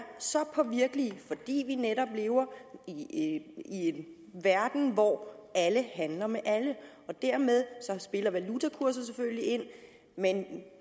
så påvirkelige fordi vi netop lever i en verden hvor alle handler med alle og dermed spiller valutakurser selvfølgelig ind men